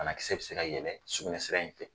banakisɛ bi se yɛlɛ sugunɛ sira in fɛ